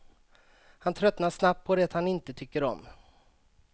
Han tröttnar snabbt på det han inte tycker om.